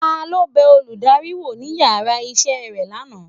talo bẹ olùdarí wọ ní ìyára isé rẹ laná?